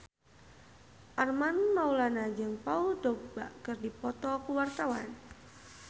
Armand Maulana jeung Paul Dogba keur dipoto ku wartawan